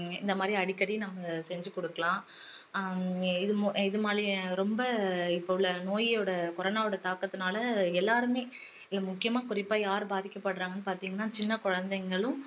இந்த மாதிரி அடிக்கடி நம்ம செஞ்சி கொடுக்கலாம் ஆஹ் இது மாதிரி ரொம்ப இப்போ உள்ள நோயோட corona வோட தாக்கத்துனால எல்லாருமே முக்கியமா குறிப்பா யாரு பாதிக்கப்படுறாங்கன்னு பாத்திங்கன்னா சின்ன குழந்தைங்களும்